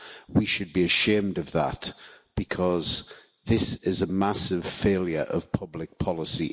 We should be ashamed of that because this is a massive failure of public policy.